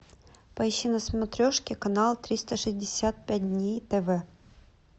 поищи на смотрешке канал триста шестьдесят пять дней тв